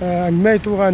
әңгіме айтуға